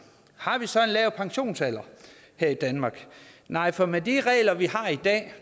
har vi så en lav pensionsalder her i danmark nej for med de regler